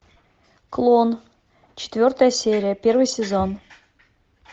клон четвертая серия первый сезон